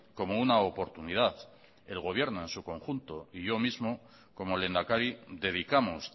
como una oportunidad el gobierno en su conjunto y yo mismo como lehendakari dedicamos